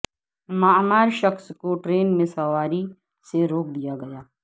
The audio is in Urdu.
معمر شخص کو ٹرین میں سواری سے روکدیا گیا